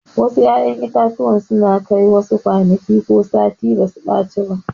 Wasu 'ya'yan itatuwa suna Kai wasu kwanaki ko sati basu ɓaci ba.